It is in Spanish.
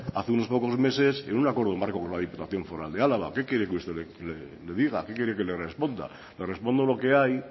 hace unos pocos meses en un acuerdo marco por la diputación foral de álava qué quiere usted que le diga qué quiere que le responda le respondo lo que hay